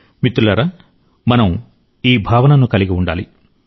మిత్రులారా మనం ఈ భావనను కలిగిఉండాలి